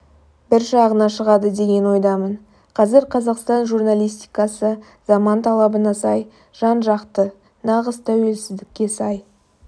бір жағына шығады деген ойдамын қазір қазақстан журналистикасы заман талабына сай жан-жақты нағыз тәуелсіздікке сай